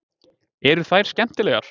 Eru þær skemmtilegar